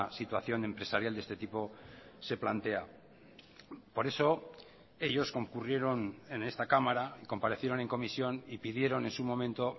situación empresarial de este tipo se plantea por eso ellos concurrieron en esta cámara comparecieron en comisión y pidieron en su momento